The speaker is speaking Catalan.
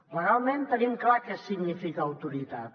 legalment tenim clar què significa autoritat